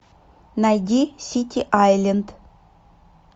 найди сити айленд